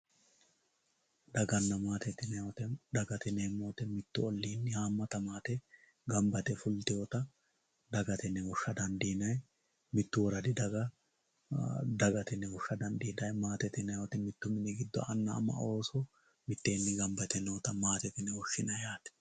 Dagana maatete yinanni woyte mitu ollinni hamata maate gamba yite ofollitinotta dagate yine woshsha dandiinanni mitu ragi daga dagate yine woshsha dandiinanni maatete yinanni woyte anna ama ooso mitteenni gamba yite nootta maatete yine woshshinanni.